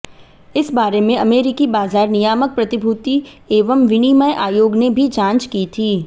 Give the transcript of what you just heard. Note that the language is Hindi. इस बारे में अमेरिकी बाजार नियामक प्रतिभूति एवं विनिमय आयोग ने भी जांच की थी